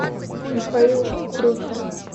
михаил трухин